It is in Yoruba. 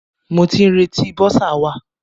Mo ti ń retí bọ́sà wa.